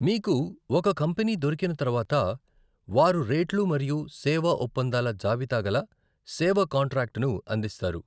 మీకు ఒక కంపెనీ దొరికిన తర్వాత, వారు రేట్లు మరియు సేవా ఒప్పందాల జాబితాగల సేవ కాంట్రాక్టును అందిస్తారు.